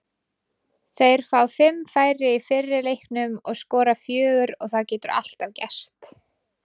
Þeir fá fimm færi í fyrri leiknum og skora fjögur og það getur alltaf gerst.